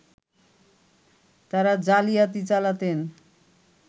তারা জালিয়াতি চালাতেন